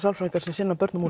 sálfræðingar sem sinna börnum